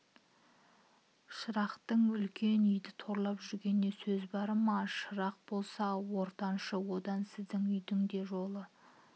шырақтың үлкен үйді торлап жүргенінде сәз бар ма шырақ болса ортаншы одан сіздің үйдің де жолы